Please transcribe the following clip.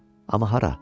Amma hara?